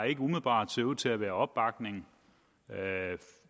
ikke umiddelbart ser ud til at være opbakning